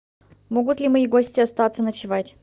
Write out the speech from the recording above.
могут ли мои гости остаться ночевать